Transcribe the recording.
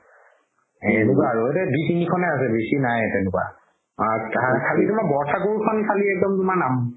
এনেকুৱাই আৰু ইয়াতে দুই তিনিখনে আছে বেচি নাই তেনেকুৱা খালি তুমাৰ বৰথাকোৰখন খালি একদম নাম